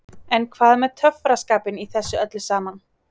En hvað með töffaraskapinn í þessu öllu saman?